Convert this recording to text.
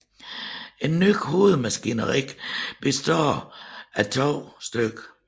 Et nyt hovedmaskineri bestående af 2 stk